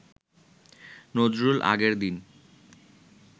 নজরুল আগের দিন